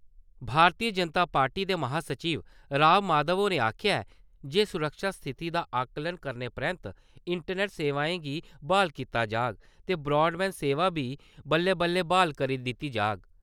भारती Janata party दे महासचिव राम माधव होरें आखेआ ऐ जे सुरक्षा स्थिति दा आकलन करने परैन्त इंटरनेट सेवाएं गी ब्हाल कीता जाग ते ब्राडबैंड सेवा गी बल्लें-बल्लें ब्हाल करी दित्ता जाग ।